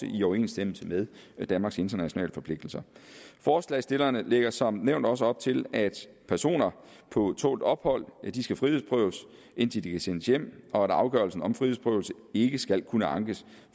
i overensstemmelse med danmarks internationale forpligtelser forslagsstillerne lægger som nævnt også op til at personer på tålt ophold skal frihedsberøves indtil de kan sendes hjem og at afgørelsen om frihedsberøvelse ikke skal kunne ankes